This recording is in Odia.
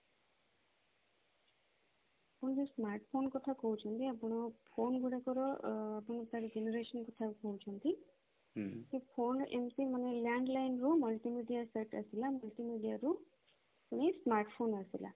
ଆପଣ ଯୋଉ smartphone କଥା କହୁଛନ୍ତି ଆପଣ phone ଗୁଡାକର ଆଁ ଆପଣ ତାର generation କଥା କହୁଛନ୍ତି ତ phone ଏମିତି ମାନେ landline ରୁ multimedia ସେଇଟା ଥିଲା multimedia ରୁ ହିଁ smartphone ଆସିଲା